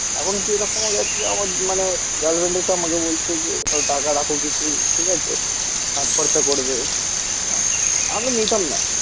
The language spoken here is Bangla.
এমনকি এরকমও মানে গার্লফ্রেন্ড এসে আমাকে বলছে যে টাকা রাখো কিছু. ঠিক আছে? কাজ খরচা করবে. হ্যাঁ. আমি নিতাম না.